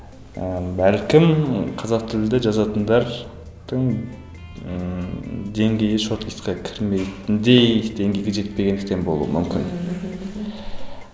ііі бәлкім қазақ тілді жазатындардың ыыы деңгейі шорт листқа кірмейтіндей деңгейге жетпегендіктен болу мүмкін мхм